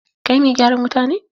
Kai mai gyaran wuta ne?